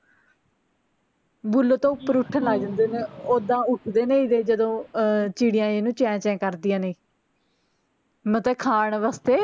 ਬੁੱਲ ਤੋਂ ਉਪਰ ਉੱਠਣ ਲਗ ਜਾਂਦੇ ਨੇ ਓਦਾਂ ਉਠਦੇ ਨੇ ਜਦੋਂ ਅਹ ਚਿੜੀਆਂ ਇਹਨੂੰ ਚੇਂ ਚੇਂ ਕਰਦੀਆਂ ਨੇ ਮਤਲਬ ਖਾਣ ਵਾਸਤੇ